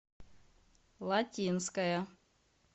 латинская